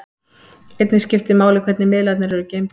Einnig skiptir máli hvernig miðlarnir eru geymdir.